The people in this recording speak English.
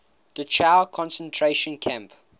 dachau concentration camp